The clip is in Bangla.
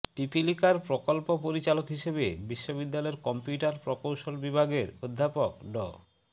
পিপীলিকার প্রকল্প পরিচালক হিসেবে বিশ্ববিদ্যালয়ের কম্পিউটার প্রকৌশল বিভাগের অধ্যাপক ড